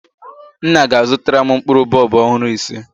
Nna ga-azụtara m mkpụrụ bọlbụ ọhụrụ ise